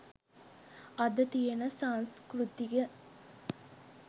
අද තියෙන සංස්කෘතිය.